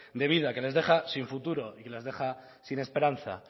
de vida que les deja sin futuro y les deja sin esperanza